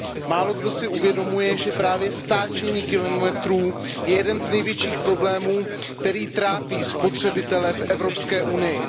Málokdo si uvědomuje, že právě stáčení kilometrů je jeden z největších problémů, který trápí spotřebitele v Evropské unii.